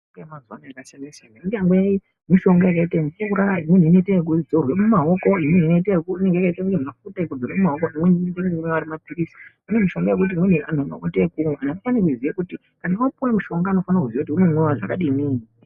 Mitombo yemazuvano yakasiyana saiyana imweni yakaite mvura imweni inozorwa mumaoko imweni inotoita kumwiwa air mapiritsi kune mishonga yekuti unoita yekumwa kana wapiwa mushonga unofana kuziya kuti unomwiwa zvakadini .